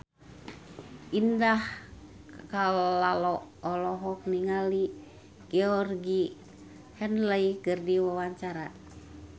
Indah Kalalo olohok ningali Georgie Henley keur diwawancara